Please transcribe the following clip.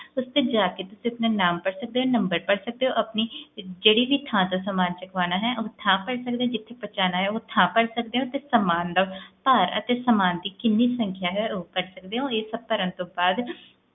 ਜਾ ਕੇ ਤੁਸੀਂ ਆਪਣਾ ਨਾਮ ਤੇ ਭਰ ਸਕਦੇ ਹੋ ਆਪਣਾ ਸਾਮਾਨ ਜਿਥੋਂ ਚਕਵਾਓਣਾ ਹੈ ਉਹ ਥਾਂ ਭਰ ਸਕਦੇ ਹੋ ਤੇ ਜਿਥੇ ਸਮਾਂ ਪਹੁੰਚਣਾ ਹੈ ਉਹ ਥਾਂ ਭਰ ਸਕਦੇ ਹੋ ਤੇ ਸਮਾਂ ਦਾ ਭਰ ਤੇ ਸਮਾਂ ਦੀ ਕੀਨੀ ਸੰਖ੍ਯਾ ਹੈ ਉਹ ਭਰ ਸਕਦੇ ਹੋ ਇਹ ਸਭ ਭਰਨ ਤੋਂ ਬਾਅਦ